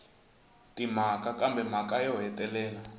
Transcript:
timhaka kambe mhaka yo hetelela